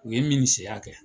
U ye kɛ.